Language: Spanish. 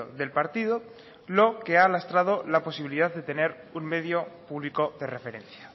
del partido lo que ha lastrado la posibilidad de tener un medio público de referencia